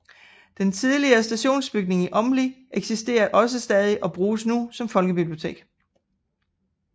Den tidligere stationsbygning i Åmli eksisterer også stadig og bruges nu som folkebibliotek